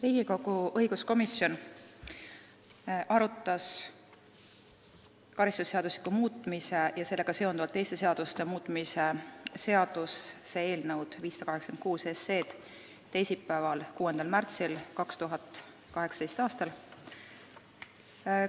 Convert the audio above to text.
Riigikogu õiguskomisjon arutas karistusseadustiku muutmise ja sellega seonduvalt teiste seaduste muutmise seaduse eelnõu 586 teisipäeval, 6. märtsil 2018. aastal.